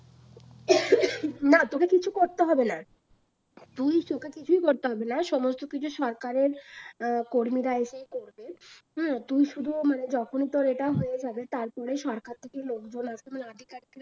না তোকে কিচ্ছু করতে হবে না। তুই কিছু করতে হবে না, সমস্ত কিছু সরকারের আহ কর্মীরা এসে করবে। হুম তোর শুধু মানে যখন তোর এটা হয়ে যাবে, তারপরে সরকার থেকে লোকজন আধিকারিকরা আসবে